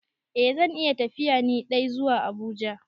Eh zan iya tafiya ni dai zuwa Abuja.